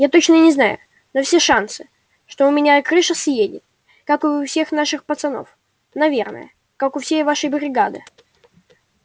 я точно не знаю но все шансы что у меня там крыша съедет как и у всех наших пацанов наверное как у всей вашей бригады